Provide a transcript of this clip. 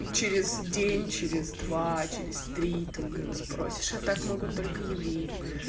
через день через два через три ты у него спросишь а так могут только евреи